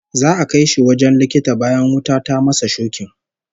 Za'a kai shi wajen likita bayan wuta ta masa shokin